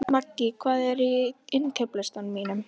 Maggý, hvað er á innkaupalistanum mínum?